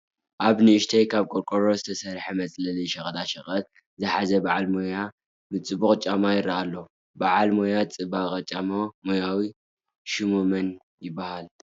ኣብ ንዕሽተይ ካብ ቆርቆሮ ዝተሰርሐት መፅሐሊ ሸቀጣ ሸቀጥ ዝሓዘ በዓል ሙያ ምፅባቕ ጫማ ይርአ ኣሎ፡፡ በዓል ሞያ ምፅባቕ ጫማ ሞያዊ ሽሙ መን ይበሃል?